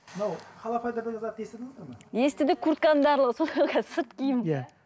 мынау холофайбер деген затты естідіңіздер ме естідік куртканың барлығы сол ғой сырт киім